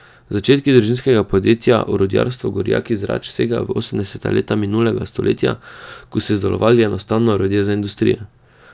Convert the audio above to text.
Začetki družinskega podjetja Orodjarstvo Gorjak iz Rač segajo v osemdeseta leta minulega stoletja, ko so izdelovali enostavna orodja za industrijo.